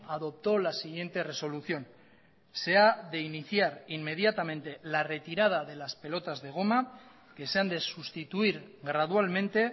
adoptó la siguiente resolución se ha de iniciar inmediatamente la retirada de las pelotas de goma que se han de sustituir gradualmente